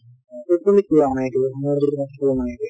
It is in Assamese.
মোৰ যদি কিবা হৈ আছে